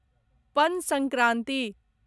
पन संक्रांति